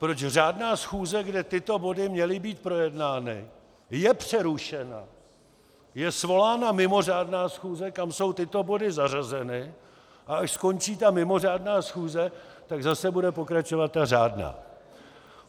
Proč řádná schůze, kde tyto body měly být projednány, je přerušena, je svolána mimořádná schůze, kam jsou tyto body zařazeny, a až skončí ta mimořádná schůze, tak zase bude pokračovat ta řádná.